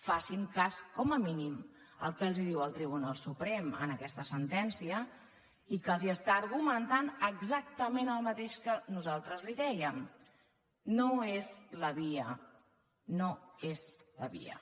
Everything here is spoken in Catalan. facin cas com a mínim del que els diu el tribunal suprem en aquesta sentència i que els argumenta exactament el mateix que nosaltres li dèiem no és la via no és la via